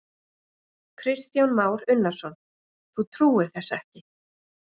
Kristján Már Unnarsson: Þú trúir þessu ekki?